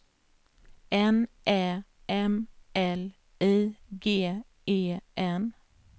N Ä M L I G E N